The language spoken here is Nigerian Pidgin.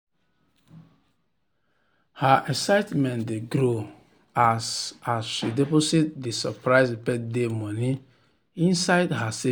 her excitement dey grow as as she deposit di surprise birthday money inside her savings um account without stress.